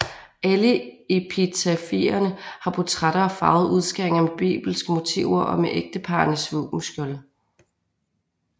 Alle epitafierne har portrætter og farvede udskæringer med bibelske motiver og med ægteparrenes våbenskjolde